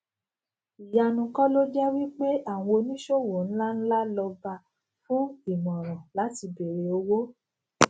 ìyanu kò loje wí pé àwọn òní sowo nla nla loba fún imoran láti bere owo